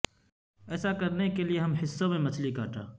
ایسا کرنے کے لئے ہم حصوں میں مچھلی کاٹا